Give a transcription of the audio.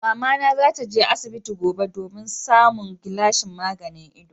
Mamana za ta je asibiti gobe domin samun gilashin maganin ido.